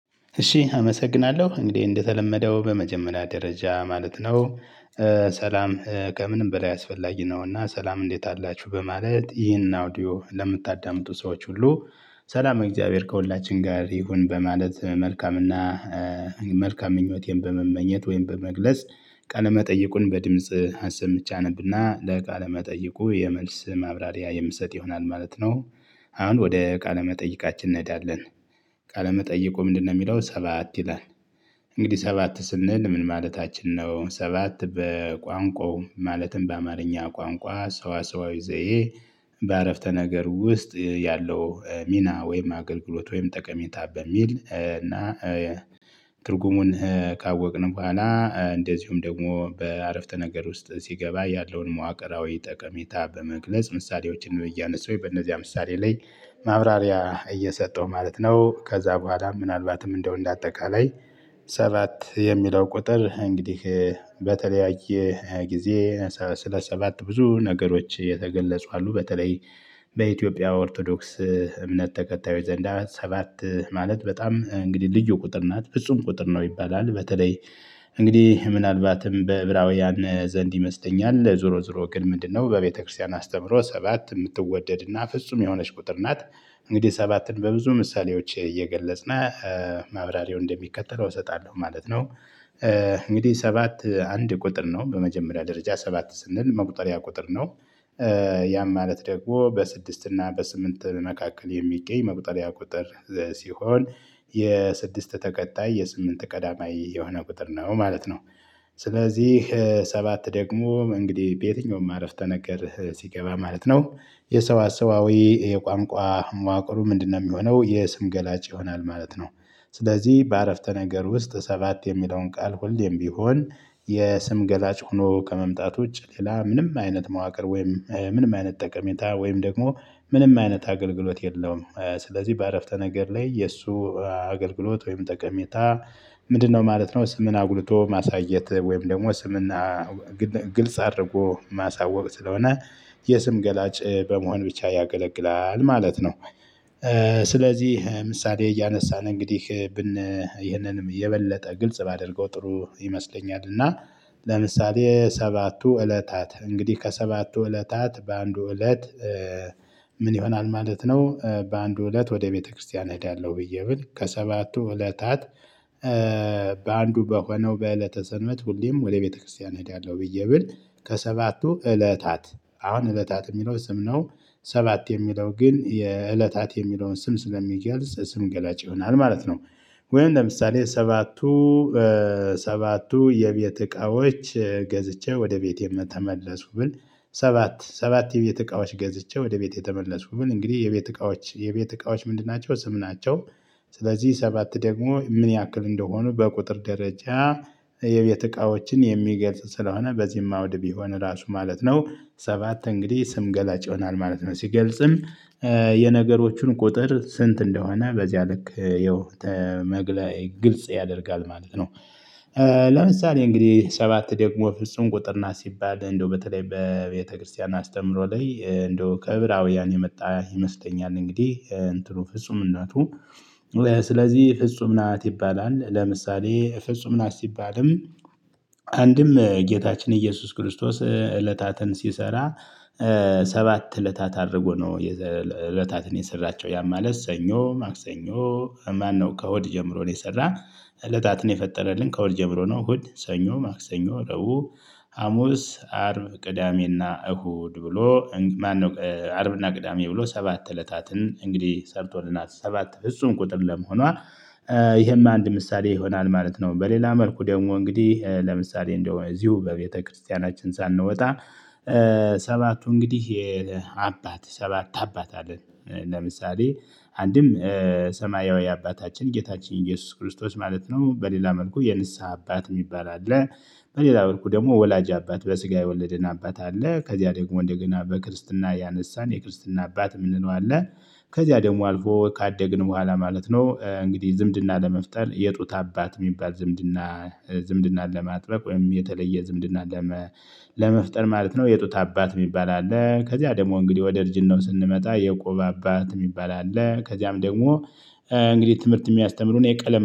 እሺ አመሰግናለሁ እንግዲህ እንደተለመደው በመጀመሪያ ደረጃ ማለት ነው። ሰላም ከምንም በላይ አስፈላጊ ነውና ሰላም እንዴት አላችሁ በማለት ይህንን አውዲዮ ለምታዳምጡ ሰዎች ሁሉ። ሰላም እግዚአብሔር ከሁላችን ጋር ይሁን። በማለት መልካምና መልካም ምኞቴን በመመኘት ወይም በመግለጽ ቃለ መጠይቁን በድምጽ አሰምቼ አነብና ለቃለ መጠይቁ የመልስ ማብራሪያ የምሰጥ ይሆናል ማለት ነው። አሁን ወደ ቃለመጠይቃችን እንሄዳለን። ቃለመጠይቁ ምንድነው? የሚለው ሰባት ይላል። እንግዲህ ሰባት ስንል ምን ማለታችን ነው? ሰባት በቋንቋው ማለትም በአማርኛ ቋንቋ ሰዋሰዋዊ ዘዬ። በአረፍተ ነገር ውስጥ ያለው ሚና ወይም አገልግሎት ወይም ጠቀሜታ በሚል እና። ትርጉሙን ካወቅን በኋላ እንደዚሁም ደግሞ በአረፍተ ነገር ውስጥ ሲገባ ያለውን መዋቅራዊ ጠቀሜታ በመግለጽ ምሳሌዎችን እያነሳው በእነዚያ ምሳሌ ላይ። ማብራሪያ እየሰጠሁ ማለት ነው። ከዛ በኋላም ምናልባትም እንደው እንደ አጠቃላይ። ሰባት የሚለው ቁጥር እንግዲህ በተለያየ ሃያ ጊዜ ስለ ሰባት ብዙ ነገሮች የተገለጹ አሉ። በተለይ በኢትዮጵያ ኦርቶዶክስ እምነት ተከታዮች ዘንዳ ሰባት ማለት በጣም እንግዲህ ልዩ ቁጥር ናት ፍጹም ቁጥር ነው ይባላል በተለይ። እንግዲህ ምናልባትም በዕብራውያን ዘንድ ይመስለኛል ዞሮ ዞሮ ግን ምንድነው በቤተክርስቲያን አስተምሮ ሰባት የምትወደድና ፍጹም የሆነች ቁጥር ናት። እንግዲህ ሰባትን በብዙ ምሳሌዎች እየገለጽነ ማብራሪያው እንደሚከተለው እሰጣለሁ ማለት ነው። እንግዲህ ሰባት አንድ ቁጥር ነው በመጀመሪያ ደረጃ ሰባት ስንል መቁጠሪያ ቁጥር ነው። ያም ማለት ደግሞ በስድስት እና በስምንት መካከል የሚገኝ መቁጠሪያ ቁጥር። ሲሆን የስድስት ተከታይ የስምንት ቀዳማይ የሆነ ቁጥር ነው ማለት ነው። ስለዚህ ሰባት ደግሞ እንግዲህ በየትኛውም አረፍተ ነገር ሲገባ ማለት ነው የሰዋሰዋዊ የቋንቋ መዋቅሩ ምንድነው? የሚሆነው የስም ገላጭ ይሆናል ማለት ነው። ስለዚህ በአረፍተ ነገር ውስጥ ሰባት የሚለውን ቃል ሁልም ቢሆን የስም ገላጭ ሆኖ ከመምጣቱ ውጭ ሌላ ምንም አይነት መዋቅር ወይም ምንም አይነት ጠቀሜታ ወይም ደግሞ ምንም አይነት አገልግሎት የለውም። ስለዚህ በአረፍተ ነገር ላይ የእሱ አገልግሎት ወይም ጠቀሜታ ምንድነው? ማለት ነው ስምን አጉልቶ ማሳየት ወይም ደግሞ ስምና ግልጽ አድርጎ ማሳወቅ ስለሆነ የስም ገላጭ በመሆን ብቻ ያገለግላል ማለት ነው። ስለዚህ ምሳሌ እያነሳን እንግዲህ ብን ይህንንም የበለጠ ግልጽ ባደርገው ጥሩ ይመስለኛል እና። ለምሳሌ ሰባቱ እለታት እንግዲህ ከሰባቱ እለታት በአንዱ እለት። ምን ይሆናል ማለት ነው? በአንዱ እለት ወደ ቤተክርስቲያን እሄዳለሁ ብዬ ብል ከሰባቱ እለታት። በአንዱ በሆነው በእለተ ሰንበት ሁሌም ወደ ቤተክርስቲያን እሄዳለሁ ብዬ ብል ከሰባቱ እለታት አሁን እለታት የሚለው ስም ነው ሰባት የሚለው ግን የእለታት የሚለውን ስም ስለሚገልጽ ስም ገላጭ ይሆናል ማለት ነው። ወይም ለምሳሌ ሰባቱ ሰባቱ የቤት እቃዎች። ገዝቼ ወደ ቤቴ ተመለስኩ ብል ሰባት ሰባት የቤት እቃዎች ገዝቼ ወደ ቤቴ የተመለስኩ ብል እንግዲህ የቤት እቃዎች የቤት እቃዎች ምንድን ናቸው? ስምናቸው ስለዚህ ሰባት ደግሞ ምን ያክል እንደሆኑ በቁጥር ደረጃ። የቤት እቃዎችን የሚገልጽ ስለሆነ በዚህም አውድ ቢሆን እራሱ ማለት ነው ሰባት እንግዲህ ስም ገላጭ ይሆናል ማለት ነው። ሲገልጽም የነገሮቹን ቁጥር ስንት? እንደሆነ በዚያ ልክ የው መግለይ ግልጽ ያደርጋል ማለት ነው። ለምሳሌ እንግዲህ ሰባት ደግሞ ፍጹም ቁጥር እና ሲባል እንደው በተለይ በቤተክርስቲያን አስተምሮ ላይ እንደው ከዕብራውያን የመጣ ይመስለኛል እንግዲህ እንትኑ ፍጹምነቱ። ስለዚህ ፍጹም ናት ይባላል። ለምሳሌ ፍጹም ናት ሲባልም። አንድም ጌታችን ኢየሱስ ክርስቶስ እለታትን ሲሰራ። ሰባት እለታት አድርጎ ነው የዘ እለታትን የሰራቸው ያ ማለት ሰኞ ማክሰኞ። ማነው ከሆድ ጀምሮ ነው የሰራ። እለታትን የፈጠረልን ከ እሁድ ጀምሮ ነው እሁድ ሰኞ ማክሰኞ ረቡ። ሀሙስ አርብ ቅዳሜና እሁድ ብሎ ማነው አርብና ቅዳሜ ብሎ ሰባት እለታትን እንግዲህ ሰርቶልናል ሰባት ፍጹም ቁጥር ለመሆኗ። ይሄም አንድ ምሳሌ ይሆናል ማለት ነው። በሌላ መልኩ ደግሞ እንግዲህ ለምሳሌ እንደው እዚሁ በቤተክርስቲያናችን ሳንወጣ። ሰባቱ እንግዲህ የአባት ሰባት አለን። ለምሳሌ አንድም ሰማያዊ አባታችን ጌታችን ኢየሱስ ክርስቶስ ማለት ነው። በሌላ መልኩ የንስሃ አባት የሚባል አለ። በሌላ መልኩ ደግሞ ወላጅ አባት በስጋ የወለደን አባት አለ ከዚያ ደግሞ እንደገና በክርስትና ያነሳን የክርስትና አባት ምንለው አለ። ከዚያ ደግሞ አልፎ ካደግን በኋላ ማለት ነው እንግዲህ ዝምድና ለመፍጠር የጡት አባት የሚባል ዝምድና። ዝምድናን ለማጥበቅ ወይም የተለየ ዝምድና። ለመፍጠር ማለት ነው የጡት አባት የሚባል አለ። ከዚያ ደግሞ እንግዲህ ወደ ልጅን ነው ስንመጣ የቆባብ አባት የሚባል አለ ከዚያም ደግሞ። እንግዲህ ትምህርት የሚያስተምሩን የቀለም